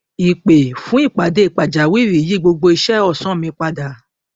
ìpè fún ìpàdé pàjáwìrì yí gbogbo iṣẹ ọsán mi padà